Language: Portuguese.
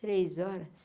Três horas?